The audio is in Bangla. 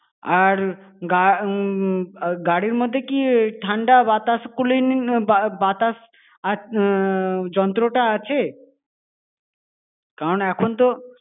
আর গা~ উম গাড়ির মধ্যে কি ঠান্ডা বাতাস cooling বাতাস আ~ উম বাতাস যন্ত্রটা আছে? কারণ এখন তো।